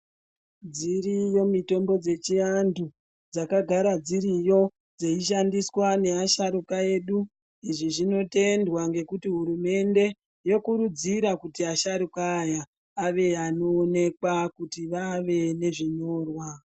Dziriyo mitombo dzechiantu dzakagara dziriyo dzeishandiswa ngeasharukwa edu. Izvi zvinotendwa ngekuti hurumende yokurudzira kuti vasharukwa aya ave anoonekwa kuti vave nezvinyorwa.